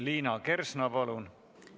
Liina Kersna, palun!